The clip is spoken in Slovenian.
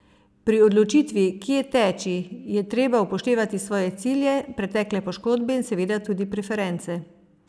Pri odločitvi, kje teči, je treba upoštevati svoje cilje, pretekle poškodbe in seveda tudi preference.